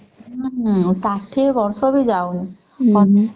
ହୁଁ ଷାଠିଏ ବର୍ଷ ବି ଯାଉନି